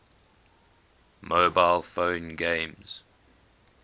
mobile phone games